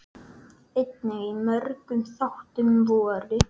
Einnig í mörgum þáttum voru: